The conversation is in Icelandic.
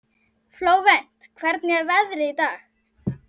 Flóvent, hvernig er veðrið í dag?